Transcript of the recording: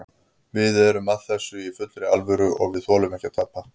Við erum að þessu í fullri alvöru og við þolum ekki að tapa.